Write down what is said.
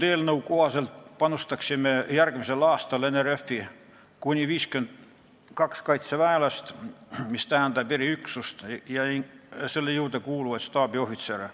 Eelnõu kohaselt panustaksime järgmisel aastal NRF-i kuni 52 kaitseväelasega, mis tähendab eriüksust ja selle juurde kuuluvaid staabiohvitsere.